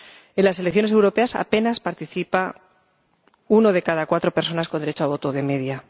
En las elecciones europeas apenas participa una de cada cuatro personas con derecho a voto, de media.